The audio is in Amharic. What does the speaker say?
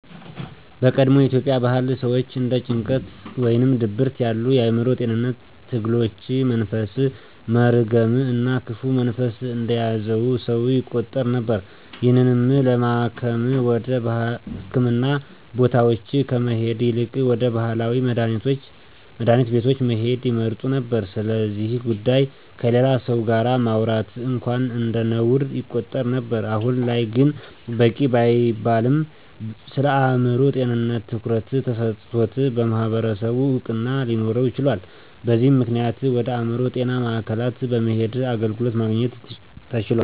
በቀድሞ የኢትዮጵያ ባህል ሰወች እንደ ጭንቀት ወይም ድብርት ያሉ የአዕምሮ ጤንነት ትግሎች መንፈስ፣ መርገም እና ክፉ መንፈስ እንደያዘው ሰው ይቆጠር ነበር። ይህንንም ለማከም ወደ ህክምና ቦታወች ከመሄድ ይልቅ ወደ ባህላዊ መድሀኒት ቤቶች መሄድን ይመርጡ ነበር። ስለዚ ጉዳይ ከሌላ ሰው ጋር ማውራት እንኳን እንደነውር ይቆጠር ነበር። አሁን ላይ ግን በቂ ባይባልም ስለአእምሮ ጤንነት ትኩረት ተሰጥቶት በማህበረሰቡ እውቅና ሊኖረው ችሏል። በዚም ምክንያት ወደ አእምሮ ጤና ማዕከላት በመሄድ አገልግሎትን ማግኘት ተችሏል።